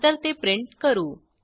नंतर ते प्रिंट करू